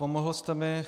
Pomohl jste mi.